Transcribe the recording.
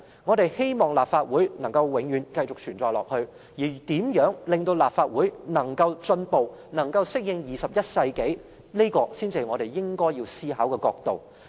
我們也希望立法會可以繼續存在，而如何令立法會有所進步，適應21世紀的發展，這才是我們應要思考的角度。